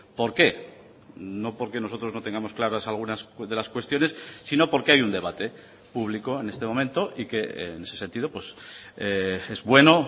por qué no porque nosotros no tengamos claras algunas de las cuestiones sino porque hay un debate público en este momento y que en ese sentido es bueno